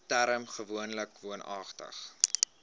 term gewoonlik woonagtig